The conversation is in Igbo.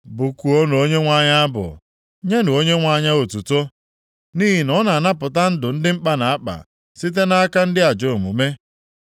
Bụkuonụ Onyenwe anyị abụ! Nyenụ Onyenwe anyị otuto! Nʼihi na ọ na-anapụta ndụ ndị mkpa na-akpa, site nʼaka ndị ajọ omume.